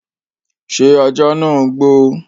ṣé ajá nàá ń gbó?